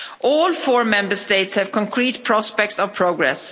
All four Member States have concrete prospects of progress